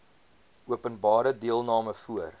openbare deelname voor